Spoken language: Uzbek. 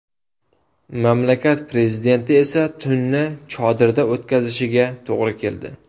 Mamlakat prezidenti esa tunni chodirda o‘tkazishiga to‘g‘ri keldi .